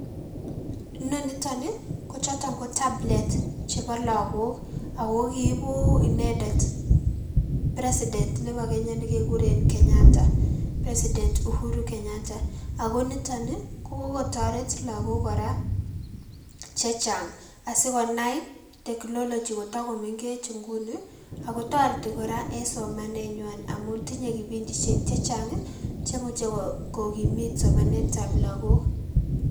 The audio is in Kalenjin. Inoniton ii kochoton ko tablet cheboo lokok akoo kiibu inendet president neboo Kenya nekekuren Kenyatta, president Uhuru Kenyatta, akoo niton ii kokikotoret lokok kora chechang asikonai technology kotaa komeng'ech inguni akotereti kora en somanenywan amuun tinye kibindishek chechang chemuche kokimiit somanetab lokok.